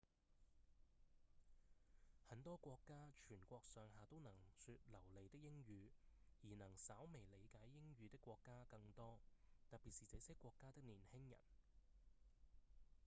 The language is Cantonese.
很多國家全國上下都能說流利的英語而能稍微理解英語的國家更多特別是這些國家的年輕人